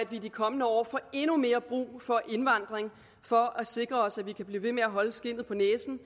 i de kommende år får endnu mere brug for indvandring for at sikre os at vi kan blive ved med at holde skindet på næsen